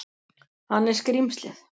Hann er skrímslið.